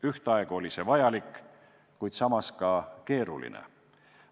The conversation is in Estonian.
Ühtaegu oli see vajalik, kuid samas ka keeruline.